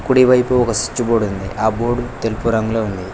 కుడి వైపు switch board ఉంది ఆ బోర్డు తెలుపు రంగులో ఉంది.